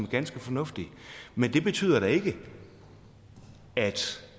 ganske fornuftigt men det betyder da ikke at